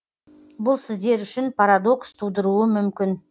бұл сіздер үшін парадокс тудыруы мүмкін